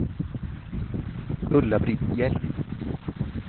Ulla-Britt Hjelm